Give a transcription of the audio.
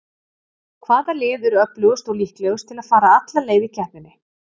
Hvaða lið eru öflugust og líklegust til að fara alla leið í keppninni?